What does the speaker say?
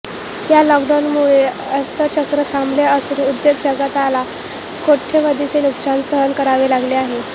या लॉकडाउनमुळे अर्थचक्र थांबले असून उद्योग जगताला कोट्यवधींचे नुकसान सहन करावे लागले आहे